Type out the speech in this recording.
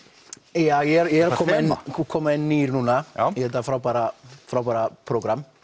já ég er að koma inn koma inn nýr núna í þetta frábæra frábæra prógram